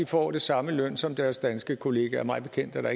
får det samme i løn som deres danske kollegaer mig bekendt er der